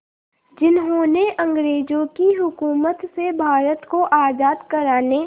जिन्होंने अंग्रेज़ों की हुकूमत से भारत को आज़ाद कराने